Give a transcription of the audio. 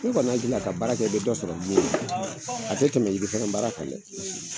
Ne kɔni hakili la ka baara kɛ i be dɔ sɔrɔ mun a tɛ tɛmɛ yiri fɛnɛ baara kan dɛ!